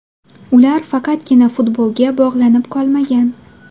Ular faqatgina futbolga bog‘lanib qolmagan.